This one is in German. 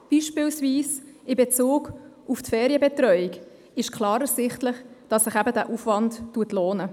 Gerade beispielsweise in Bezug auf die Ferienbetreuung ist klar ersichtlich, dass sich dieser Aufwand lohnt.